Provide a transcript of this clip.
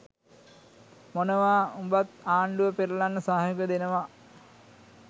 මොනවා උඹත් ආණ්ඩුව පෙරලන්න සහයෝගය දෙනවා?